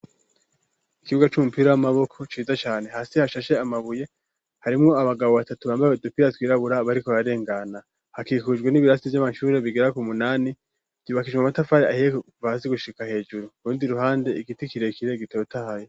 Ikibuga c'umupira w'amaboko ciza cane ,hasi hashashe amabuye ,harimwo abagabo batatu bambaye dupira twirabura, bariko bararengana, hakikujwe n'ibirasi Vy'amashuri ,bigera ku munani vyubakishijwe Amatafari ahiye , Kuva hasi gushika hejuru ,urundi ruhande igiti kirekire gitotahaye.